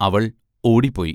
അവൾ ഓടിപ്പോയി.